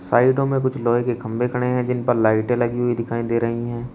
साइडों में कुछ लोहे की खंभे खड़े हैं जिन पर लाइटें लगी हुई दिखाई दे रही है।